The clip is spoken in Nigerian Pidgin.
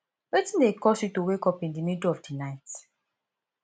wetin dey cause you to wake up in di middle of di night